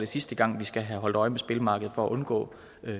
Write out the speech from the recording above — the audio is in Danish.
sidste gang vi skal have holdt øje med spillemarkedet for at undgå